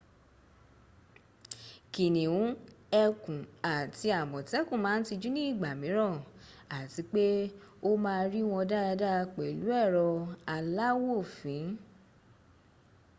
kìnìún ẹkùn àti àmọ̀tẹ́kùn máa ń tijú ní ìgbà mìíràn àti pé o máa rí wọn dáadáa pẹ̀lú ẹrọ aláwòfín